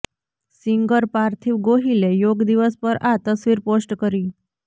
singer Parthiv ગોહિલે યોગ દિવસ પર આ તસવીર પોસ્ટ કરી